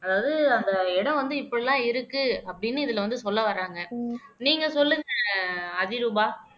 அதாவது அந்த இடம் வந்து இப்படி எல்லாம் இருக்கு அப்படின்னு இதுல வந்து சொல்ல வர்றாங்க நீங்க சொல்லுங்க அதிரூபா